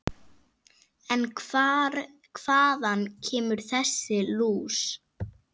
En hvaðan kemur þessi lús?